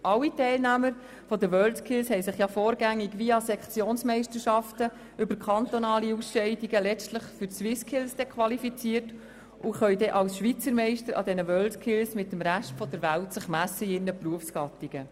Alle Teilnehmer der WorldSkills haben sich ja vorgängig via Sektionsmeisterschaften über kantonale Ausscheidungen letztlich für die SwissSkills qualifiziert und können sich als Schweizermeister in ihren Berufsgattungen mit dem Rest der Welt an diesen WorldSkills messen.